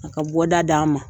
A ka bɔda d'an ma.